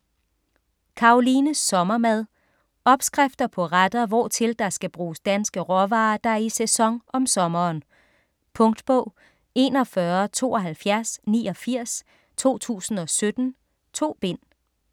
Karolines sommermad Opskrifter på retter hvortil der skal bruges danske råvarer der er i sæson om sommeren. Punktbog 417289 2017. 2 bind.